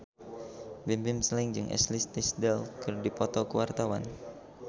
Bimbim Slank jeung Ashley Tisdale keur dipoto ku wartawan